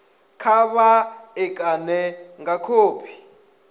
kha vha ṋekane nga khophi